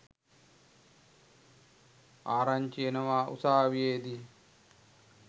ආරංචි එනවා උසාවියේදී